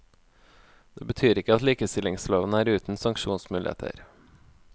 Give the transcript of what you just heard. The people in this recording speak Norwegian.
Det betyr ikke at likestillingsloven er uten sanksjonsmuligheter.